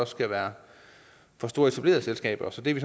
skal være for store etablerede selskaber så det er vi